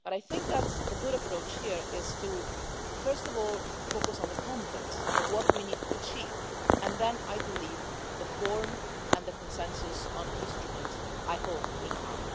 I think that the right approach here is to first of all focus on the content of what we need to achieve and then, I believe, the forum and the consensus on the instrument, I hope, will come.